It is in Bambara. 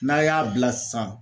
N'a y'a bila sisan.